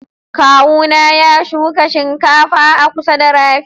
kawu na ya shuka shinkafa a kusa da rafi.